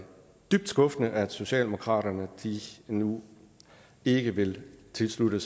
dybt skuffende at socialdemokratiet nu ikke vil tilslutte